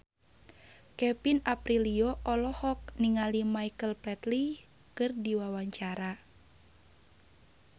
Kevin Aprilio olohok ningali Michael Flatley keur diwawancara